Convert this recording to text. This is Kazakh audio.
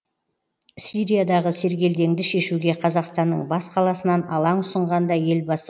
сириядағы сергелдеңді шешуге қазақстанның бас қаласынан алаң ұсынған да елбасы